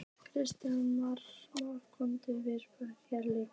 Kristján Már: Koma Vestfirðingar hér líka?